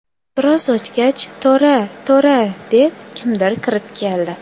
Biroz o‘tgach, ‘To‘ra, To‘ra’ deb, kimdir kirib keldi.